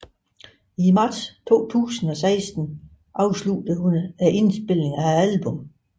I marts 2016 afsluttede hun indspillingen af albummet